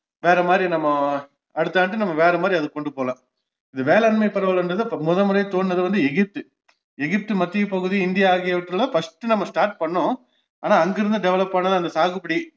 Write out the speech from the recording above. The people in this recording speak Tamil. வேறமாதிரி நம்ம அடுத்த ஆண்டு நம்ம வேறமாதிரி அதை கொண்டு போகலாம் வேளாண்மை பரவல்ன்றது அப்போ முதன்முறை தோன்றுனது வந்து எகிப்து எகிப்து மத்திய பகுதி இந்தியா ஆகியவற்றில்லாம் first நம்ம start பண்ணோம் ஆனா அங்கிருந்து develop ஆனது அந்த சாகுபடி